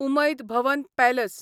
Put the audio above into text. Umaid Bhawan palace